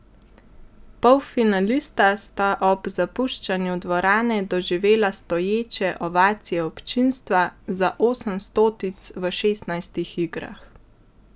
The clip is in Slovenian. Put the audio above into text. Polfinalista sta ob zapuščanju dvorane doživela stoječe ovacije občinstva, za osem stotic v šestnajstih igrah!